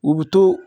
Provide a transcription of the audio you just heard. U bi to